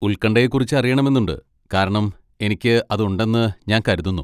ഉൽകണ്ഠയെക്കുറിച്ച് അറിയണമെന്നുണ്ട്. കാരണം എനിക്ക് അതുണ്ടെന്ന് ഞാൻ കരുതുന്നു.